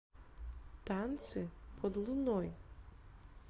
танцы под луной